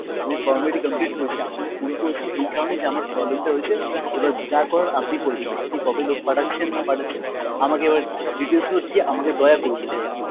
আমি formality complete করেছি, আপনাকে phone করেছি এই কারণে যে আমার problem টা হয়েছে এবার যা করার আপনি করবেন, আপনি কবে লোক পাঠাচ্ছেন না পাঠাচ্ছেন আমাকে এবার details গুলো দিয়ে আমাকে দয়া করুন এবার একটু।